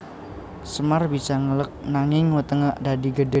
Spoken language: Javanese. Semar bisa ngeleg nanging wetenge dadi gedhe